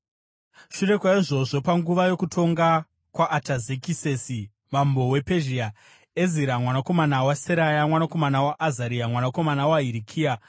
Shure kwaizvozvo, panguva yokutonga kwaAtazekisesi mambo wePezhia, Ezira mwanakomana waSeraya, mwanakomana waAzaria, mwanakomana waHirikia,